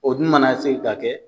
O dun mana se ka kɛ